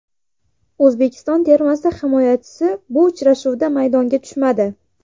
O‘zbekiston termasi himoyachisi bu uchrashuvda maydonga tushmadi.